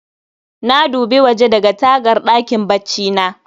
Na dubi waje daga tagar ɗakin baccina